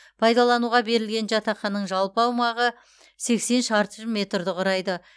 пайдалануға берілген жатақханың жалпы аумағы сексен шаршы метрді құрайды